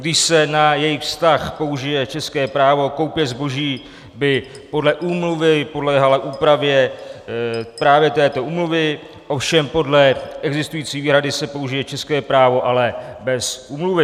Když se na jejich vztah použije české právo, koupě zboží by podle úmluvy podléhala úpravě právě této úmluvě, ovšem podle existující výhrady se použije české právo, ale bez úmluvy.